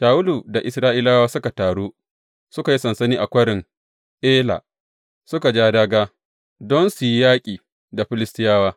Shawulu da Isra’ilawa suka taru suka yi sansani a Kwarin Ela suka ja dāgā don su yi yaƙi da Filistiyawa.